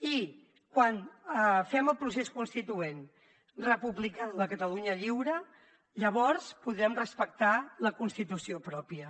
i quan fem el procés constituent republicà de la catalunya lliure llavors podrem respectar la constitució pròpia